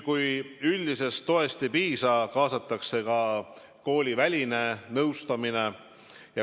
Kui üldisest toest ei piisa, kaasatakse kooliväline nõustamine.